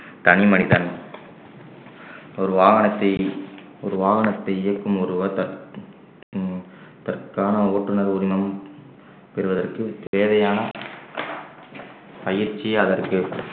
தனிமனிதன் ஒரு வாகனத்தை ஒரு வாகனத்தை இயக்கும் ஒருவர் தற்~ ஹம் தற்கான ஓட்டுநர் உரிமம் பெறுவதற்கு தேவையான பயிற்சி அதற்கு